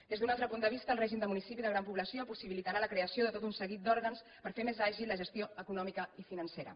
des d’un altre punt de vista el règim de municipi de gran població possibilitarà la creació de tot un seguit d’òrgans per fer més àgil la gestió econòmica i financera